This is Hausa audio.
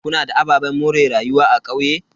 Kuna da ababen more rayuwa a kauye?